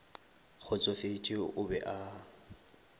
kgotsofetše o be a a